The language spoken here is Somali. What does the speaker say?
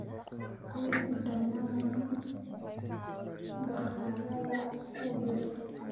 qor dhammaan bakhaarrada ku dhow